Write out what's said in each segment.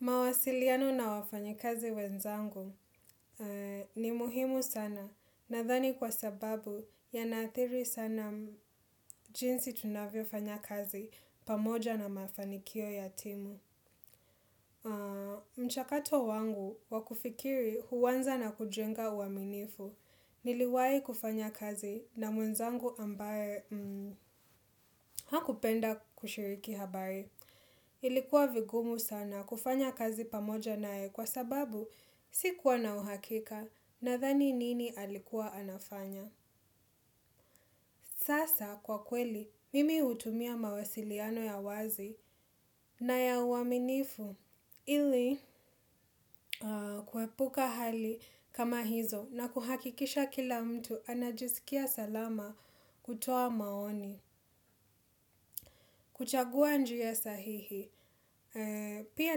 Mawasiliano na wafanyakazi wenzangu ni muhimu sana nadhani kwa sababu yanaathiri sana jinsi tunavyo fanya kazi pamoja na mafanikio ya timu. Mchakato wangu wakufikiri huanza na kujenga uaminifu. Niliwahi kufanya kazi na mwenzangu ambaye hakupenda kushiriki habari. Ilikuwa vigumu sana kufanya kazi pamoja naye kwa sababu sikuwa na uhakika nadhani nini alikuwa anafanya. Sasa kwa kweli, mimi hutumia mawasiliano ya wazi na ya uaminifu ili kuepuka hali kama hizo na kuhakikisha kila mtu anajisikia salama kutoa maoni. Kuchagua njia sahihi, pia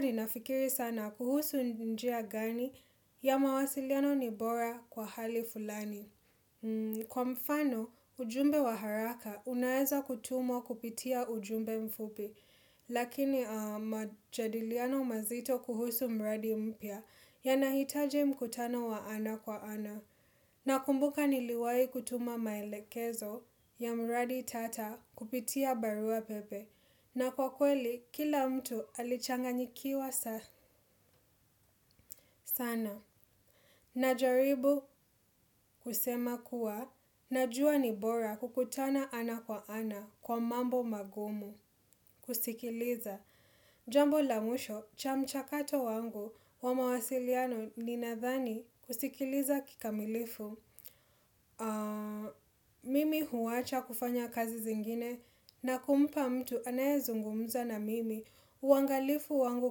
ninafikiri sana kuhusu njia gani ya mawasiliano ni bora kwa hali fulani. Kwa mfano, ujumbe wa haraka unaeza kutumwa kupitia ujumbe mfupi, lakini majadiliano mazito kuhusu mradi mpya yanahitajj mkutano wa ana kwa ana. Na kumbuka niliwahi kutuma maelekezo ya mradi tata kupitia barua pepe. Na kwa kweli, kila mtu alichanga nyikiwa sana. Najaribu kusema kuwa, najua ni bora kukutana ana kwa ana kwa mambo magumu. Kusikiliza. Jambo lamwisho, chamchakato wangu wa mawasiliano ninadhani kusikiliza kikamilifu. Mimi huacha kufanya kazi zingine na kumpa mtu anaye zungumza na mimi. Uangalifu wangu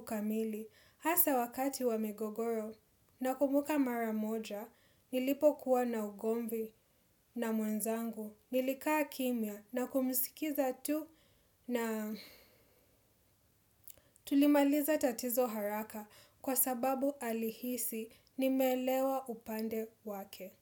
kamili hasa wakati wa migogoro na kumbuka maramoja nilipo kuwa na ugomvi na mwenzangu. Nilikaa kimya na kumisikiza tu. Na tulimaliza tatizo haraka kwa sababu alihisi nimeelewa upande wake.